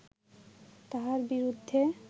তাঁহার বিরুদ্ধে